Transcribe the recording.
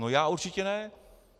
No já určitě ne.